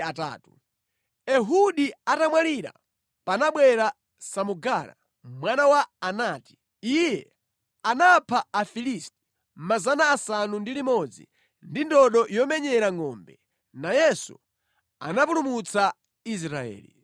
Ehudi atamwalira, panabwera Samugara mwana wa Anati. Iye anapha Afilisti 600 ndi ndodo yomenyera ngʼombe. Nayenso anapulumutsa Israeli.